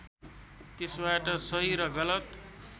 त्यसबाट सही र गलत